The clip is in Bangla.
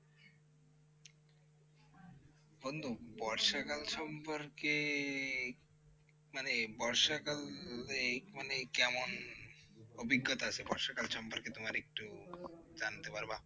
বন্ধু বর্ষাকাল সম্পর্কে মানে বর্ষাকাল এ মানে কেমন অভিজ্ঞতা আছে বর্ষাকাল সম্পর্কে তোমার একটু জানতে পারবা?